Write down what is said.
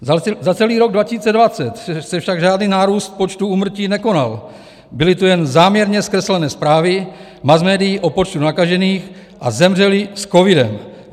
Za celý rok 2020 se však žádný nárůst počtu úmrtí nekonal, byly tu jen záměrně zkreslené zprávy masmédií o počtu nakažených a zemřelých s covidem.